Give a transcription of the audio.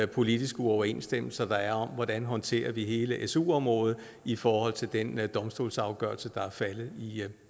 politiske uoverensstemmelser der er om hvordan vi håndterer hele su området i forhold til den domstolsafgørelse der er faldet